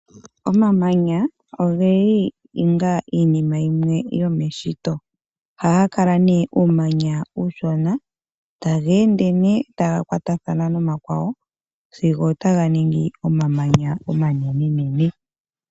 Omamanya ogeli onga iinima yimwe yomeshito. Ohaga kala nee uumanya uushona, taga ende nee taga kwatathana nomakwawo sigo taga ningi omamanya omanenenene.